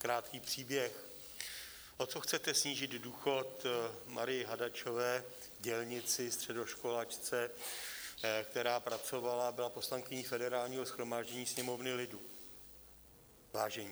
Krátký příběh: o co chcete snížit důchod Marii Hadačové, dělnici, středoškolačce, která pracovala, byla poslankyní Federálního shromáždění, Sněmovny lidu, vážení.